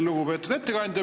Lugupeetud ettekandja!